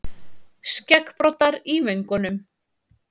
Skeggbroddar í vöngunum.